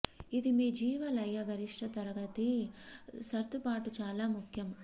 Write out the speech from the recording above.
ఇది మీ జీవ లయ గరిష్ట తరగతి సర్దుబాటు చాలా ముఖ్యం